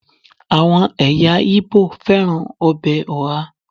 àwọn eyan ibo fẹràn obe oha